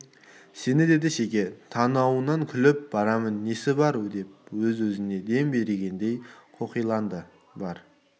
сені деді шеге танауынан күліп барамын несі бар деп өз-өзіне дем бергендей қоқиланды бар